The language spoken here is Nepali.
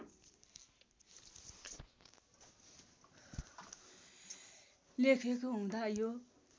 लेखिएको हुँदा यो